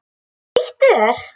Flýttu þér!